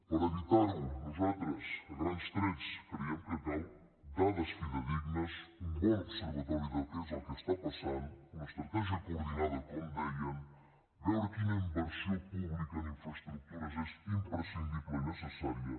per evitar ho nosaltres a grans trets creiem que calen dades fidedignes un bon observatori de què és el que està passant una estratègia coordinada com dèiem veure quina inversió pública en infraestructures és imprescindible i necessària